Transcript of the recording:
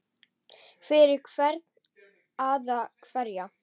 Fyrir hvern eða hverja?